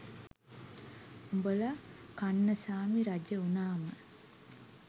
උඹල කන්නසාමි රජ වුනාම